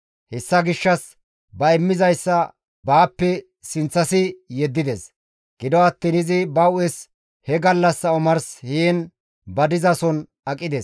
Hessa gishshas ba immizayssa baappe sinththasi yeddides; gido attiin izi ba hu7es he gallassa omars heen ba dizason aqides.